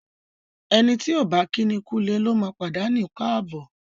Ẹni tí ọ̀ bá kíni kúulé lóma pàdánù káàbọ̀.